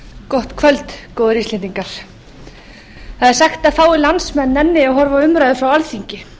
gott kvöld góðir íslendingar það er sagt að fáir landsmenn nenni að horfa á umræður frá alþingi og